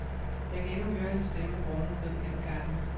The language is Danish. Jeg kan endnu høre hans stemme runge ned gennem gangene.